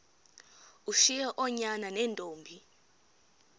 ushiye oonyana neentombi